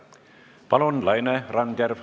Palun, Laine Randjärv!